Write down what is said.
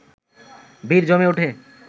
ভিড় জমে উঠে